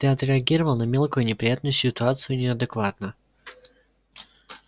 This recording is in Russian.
ты отреагировал на мелкую неприятную ситуацию неадекватно